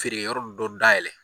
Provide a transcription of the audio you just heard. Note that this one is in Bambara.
Feere yɔrɔ dɔ dayɛlɛ.